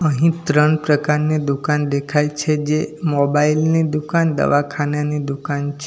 અહીં ત્રણ પ્રકારની દુકાન દેખાય છે જે મોબાઇલ ની દુકાન દવાખાનાની દુકાન છે.